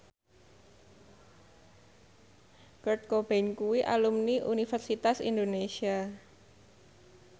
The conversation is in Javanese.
Kurt Cobain kuwi alumni Universitas Indonesia